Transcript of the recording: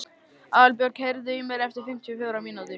Aðalbjörg, heyrðu í mér eftir fimmtíu og fjórar mínútur.